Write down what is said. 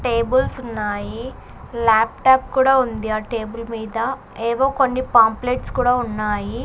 Tables ఉన్నాయి laptop కూడా ఉంది ఆ టేబుల్ మీద ఏవో కొన్ని పాంప్లెట్స్ కూడా ఉన్నాయి.